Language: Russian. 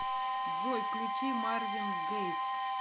джой включи марвин гейв